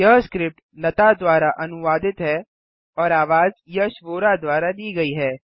यह स्क्रिप्ट लता द्वारा अनुवादित है और आवाज यश वोरा द्वारा दी गई है